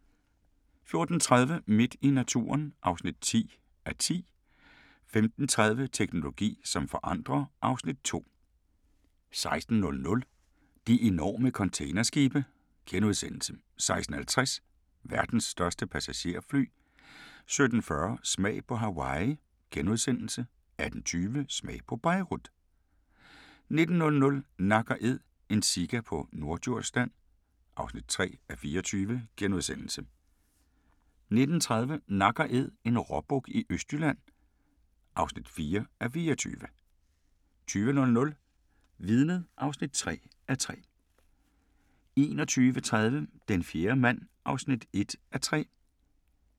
14:30: Midt i naturen (10:10) 15:30: Teknologi som forandrer (Afs. 2) 16:00: De enorme containerskibe * 16:50: Verdens største passagerfly 17:40: Smag på Hawaii * 18:20: Smag på Beirut 19:00: Nak & Æd – en sika på Norddjursland (3:24)* 19:30: Nak & Æd – en råbuk i Østjylland (4:24) 20:00: Vidnet (3:3) 21:30: Den fjerde mand (1:3)